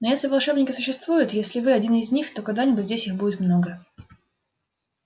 но если волшебники существуют если вы один из них то когда-нибудь здесь их будет много